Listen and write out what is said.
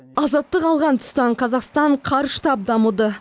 азаттық алған тұстан қазақстан қарыштап дамыды